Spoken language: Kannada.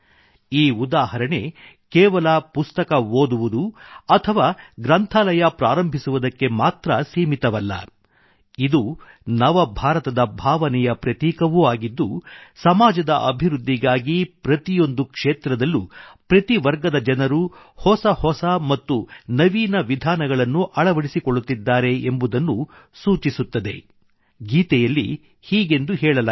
ಈ ಉದಾಹರಣೆ ಕೇವಲ ಪುಸ್ತಕ ಓದುವುದು ಅಥವಾ ಗ್ರಂಥಾಲಯ ಪ್ರಾರಂಭಿಸುವುದಕ್ಕೆ ಮಾತ್ರ ಸೀಮಿತವಲ್ಲ ಇದು ನವ ಭಾರತದ ಭಾವನೆಯ ಪ್ರತೀಕವೂ ಆಗಿದ್ದು ಸಮಾಜದ ಅಭಿವೃದ್ಧಿಗಾಗಿ ಪ್ರತಿಯೊಂದು ಕ್ಷೇತ್ರದಲ್ಲೂ ಪ್ರತಿ ವರ್ಗದ ಜನರು ಹೊಸ ಹೊಸ ಮತ್ತು ನವೀನ ವಿಧಾನಗಳನ್ನು ಅಳವಡಿಸಿಕೊಳ್ಳುತ್ತಿದ್ದಾರೆ ಎಂಬುದನ್ನು ಸೂಚಿಸುತ್ತಿದೆ